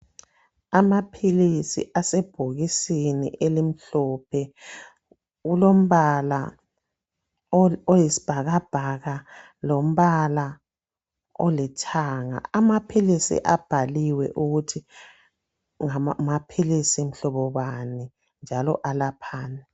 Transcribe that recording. Amaphilisi asebhokisini elimhlophe, kulombala oyisibhakabhaka lombala olithanga . Amaphilisi abhaliwe ukuthi ngamaphilisi mhlobo bani njalo alaphani.